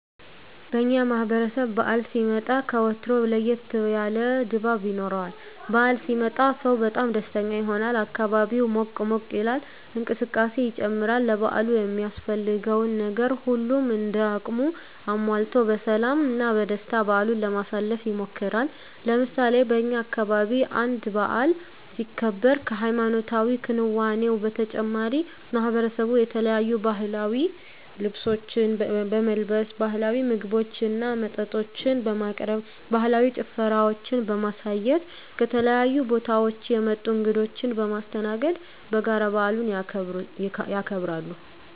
በእኛ ማህበረሰብ በዓል ሲመጣ ከወትሮው ለየት ያለ ድባብ ይኖረዋል። በዓል ሲመጣ ሰው በጣም ደስተኛ ይሆናል፣ አካባቢው ሞቅ ሞቅ ይላል፣ እንቅስቃሴ ይጨምራል፣ ለበዓሉ የሚያስፈልገውን ነገር ሁሉም እንደ አቅሙ አሟልቶ በሰላም እና በደስታ በዓሉን ለማሳለፍ ይሞክራል። ለምሳሌ በእኛ አካባቢ አንድ በዓል ሲከበር ከሀይማኖታዊ ክንዋኔው በተጨማሪ ማሕበረሰቡ የተለያዩ ባህላዊ ልብሶችን በመልበስ፣ ባህላዊ ምግቦችና መጠጦችን በማቅረብ፣ ባህላዊ ጭፈራዎችን በማሳየት፣ ከተለያዩ ቦታወች የመጡ እንግዶችን በማስተናገድ በጋራ በዓሉን ያከብራሉ።